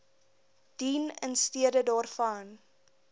dien instede daarvan